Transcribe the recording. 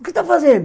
O que está fazendo?